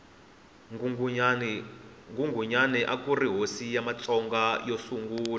nghunghunyani akuri hosi ya matsonga yo sungula